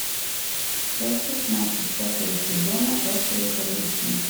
часть шестнадцать пятого сезона острые козырьки